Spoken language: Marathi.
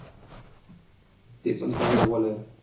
तेपण चांगला bowler